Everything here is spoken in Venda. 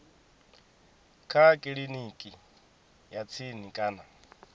kha kiliniki ya tsini kana